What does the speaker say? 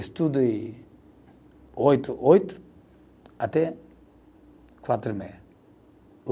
Estudo e oito, oito, até quatro e meia.